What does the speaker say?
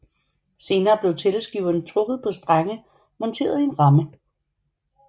Senere blev tælleskiverne trukket på strenge monteret i en ramme